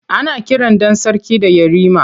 Ana kiran ɗan sarki da Yarima.